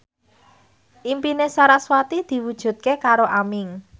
impine sarasvati diwujudke karo Aming